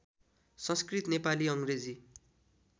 संस्कृत Nepali अङ्ग्रेजी